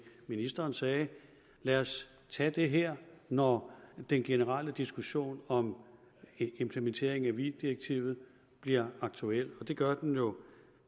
ministeren sagde lad os tage det her når den generelle diskussion om implementeringen af weee direktivet bliver aktuel og det gør den jo